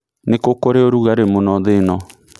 nĩ kũ kũrĩ rũgari mũno thĩ ĩno